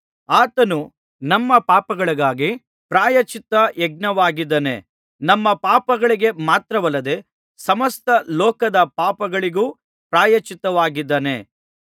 ಆತನು ನಮ್ಮ ಪಾಪಗಳಿಗಾಗಿ ಪ್ರಾಯಶ್ಚಿತ್ತ ಯಜ್ಞವಾಗಿದ್ದಾನೆ ನಮ್ಮ ಪಾಪಗಳಿಗೆ ಮಾತ್ರವಲ್ಲದೆ ಸಮಸ್ತ ಲೋಕದ ಪಾಪಗಳಿಗೂ ಪ್ರಾಯಶ್ಚಿತ್ತವಾಗಿದ್ದಾನೆ